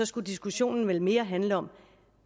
skulle diskussionen vel mere handle om